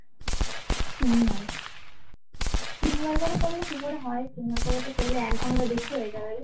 তিনবার করে করলে কি করে হয় তিনবার করে বলো তো এক ঘন্টার বেশি হয়ে যাবে রে